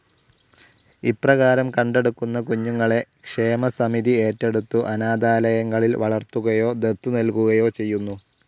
ഇപ്രകാരം കണ്ടെടുക്കുന്ന കുഞ്ഞുങ്ങളെ ക്ഷേമസമിതി ഏറ്റെടുത്തു അനാഥാലയങ്ങളിൽ വളർത്തുകയോ ദത്തു നൽകുകയോ ചെയ്യുന്നു.